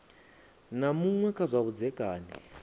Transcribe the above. na muṅwe kha zwa vhudzekani